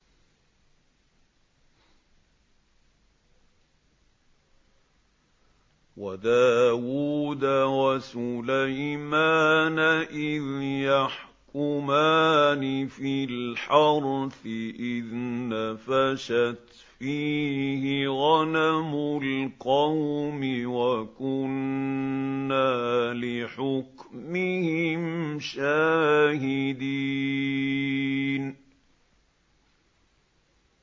وَدَاوُودَ وَسُلَيْمَانَ إِذْ يَحْكُمَانِ فِي الْحَرْثِ إِذْ نَفَشَتْ فِيهِ غَنَمُ الْقَوْمِ وَكُنَّا لِحُكْمِهِمْ شَاهِدِينَ